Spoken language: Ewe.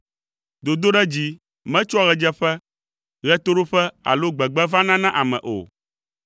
Dodoɖedzi metsoa ɣedzeƒe, ɣetoɖoƒe alo gbegbe vana na ame o,